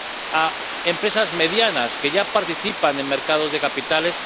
a empresas medianas que ya participan en mercados de capitales.